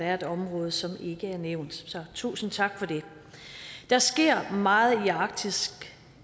er et område som ikke er nævnt så tusind tak for det der sker meget i arktis